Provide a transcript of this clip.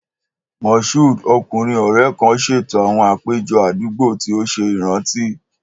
Mashood, ọkunrin ọrẹ kan, ṣeto awọn apejọ adugbo ti o ṣe iranti.